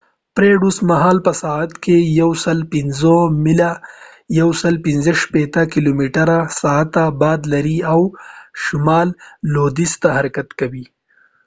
فریډ اوس مهال په ساعت کې 105 میله 165 کیلومتره/ساعت باد لري او شمال لوېدیځ ته حرکت کوي